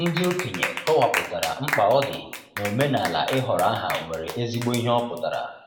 Ndị okenye kọwapụtara, mkpa ọ dị n'omenala ịhọrọ aha nwere ezigbo ihe ọpụtara.